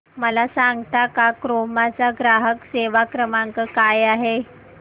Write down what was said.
मला सांगता का क्रोमा चा ग्राहक सेवा क्रमांक काय आहे